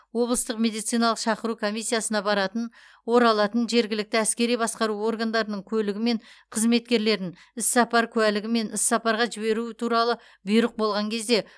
облыстық медициналық шақыру комиссиясына баратын оралатын жергілікті әскери басқару органдарының көлігі мен қызметкерлерін іссапар куәлігі немесе іссапарға жіберу туралы бұйрық болған кезде